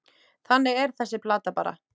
Þannig er þessi plata bara.